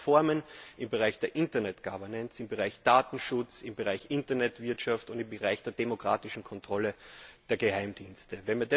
Wir brauchen Reformen im Bereich der Internet Governance, im Bereich Datenschutz, im Bereich Internetwirtschaft und im Bereich der demokratischen Kontrolle der Geheimdienste.